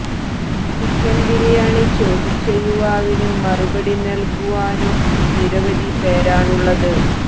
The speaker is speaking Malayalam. ചിക്കന് ബിരിയാണി ചോദിച്ച യുവാവിന് മറുപടി നല്കുവാനും നിരവധി പേരാണുള്ളത്